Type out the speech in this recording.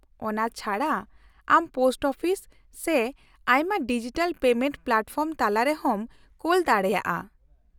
-ᱚᱱᱟ ᱪᱷᱟᱰᱟ ᱟᱢ ᱯᱳᱥᱴ ᱚᱯᱷᱤᱥ ᱥᱮ ᱟᱭᱢᱟ ᱰᱤᱡᱤᱴᱟᱞ ᱯᱮᱢᱮᱱᱴ ᱯᱞᱟᱴᱯᱷᱚᱨᱢ ᱛᱟᱞᱟ ᱛᱮᱦᱚᱸᱢ ᱠᱳᱞ ᱫᱟᱲᱮᱭᱟᱜᱼᱟ ᱾